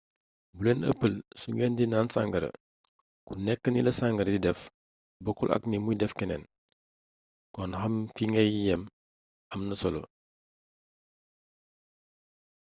bu leen ëppal su ngeen di naan sàngara ku nekk nila sàngara di def bokkul ak ni muy def keneen kon xam fi ngay yam amna solo